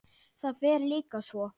Það fer líka svo.